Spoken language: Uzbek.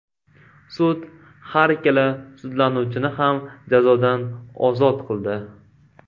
Sud har ikkala sudlanuvchini ham jazodan ozod qildi.